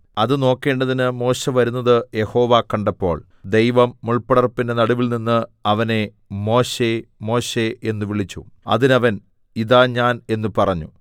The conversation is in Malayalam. അത് നോക്കേണ്ടതിന് മോശെ വരുന്നത് യഹോവ കണ്ടപ്പോൾ ദൈവം മുൾപടർപ്പിന്റെ നടുവിൽനിന്ന് അവനെ മോശെ മോശെ എന്ന് വിളിച്ചു അതിന് അവൻ ഇതാ ഞാൻ എന്ന് പറഞ്ഞു